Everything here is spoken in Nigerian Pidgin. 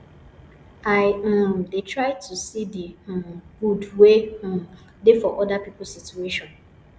i um dey try to see di um good wey um dey for oda pipo situation